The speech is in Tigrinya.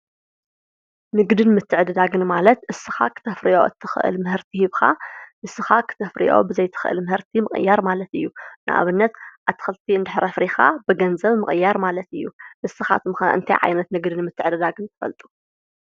ንግድን ምትዕደዳግን ማለት ንስካ ክተፈርዬ እትክእል ምህርቲ ህብካ ንስካ ክተፍርዮ ብዘይትክእል ምህርቲ ምቅያር ማለት እዩ። ንአብነት አትክልቲ እንደሕር አፍሪካ ብገንዘብ ምቅያር ማለት እዩ። ንስካትኩም ከ እንታይ ዓይነት ንግድን ምትዕደጋግን ትፈልጡ?